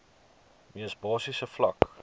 mees basiese vlak